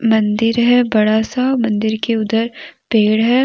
मंदिर है बड़ा सा मंदिर के उधर पेड़ है।